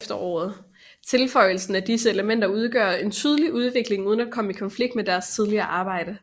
Tilføjelsen af disse elementer udgør en tydelig udvikling uden at komme i konflikt med deres tidligere arbejde